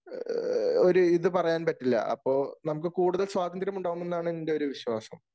ഒരു ഇത് പറയാൻ പറ്റില്ല. അപ്പൊ നമുക്ക് കൂടുതൽ സ്വാതന്ത്ര്യം ഉണ്ടാവും എന്നാണ് എൻ്റെ ഒരു വിശ്വാസം.